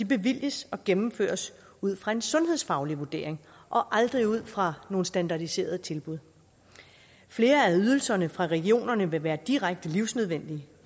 bevilges og gennemføres ud fra en sundhedsfaglig vurdering og aldrig ud fra nogle standardiserede tilbud flere af ydelserne fra regionerne vil være direkte livsnødvendige